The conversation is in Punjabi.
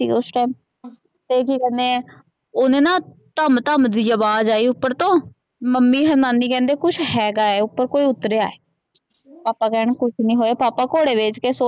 ਉਸ ਟਾਈਮ ਤੇ ਕੀ ਕਹਨੇ ਆ ਓਹਨੇ ਨਾ ਧਮ ਧਮ ਦੀ ਅਵਾਜ਼ ਆਈ ਉਪਰ ਤੋ ਮਮੀ ਅਨ ਮਾਮੀ ਕਹੰਦੇ ਕੁਛ ਹੇਗਾ ਓਪ੍ਰੋ ਕੋਈ ਉਤਰਿਆ ਪਾਪਾ ਕਹਿਣ ਕੁਛ ਨੀ ਹੋਇਆ ਪਾਪਾ ਘੋੜੇ ਵੇਚ ਕੇ ਸੋਏ।